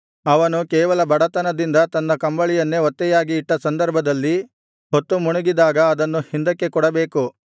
ಅವನು ಕೇವಲ ಬಡತನದಿಂದ ತನ್ನ ಕಂಬಳಿಯನ್ನೇ ಒತ್ತೆಯಾಗಿ ಇಟ್ಟ ಸಂದರ್ಭದಲ್ಲಿ ಹೊತ್ತುಮುಣುಗಿದಾಗ ಅದನ್ನು ಹಿಂದಕ್ಕೆ ಕೊಡಬೇಕು